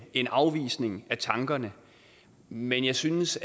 en afvisning af tankerne men jeg synes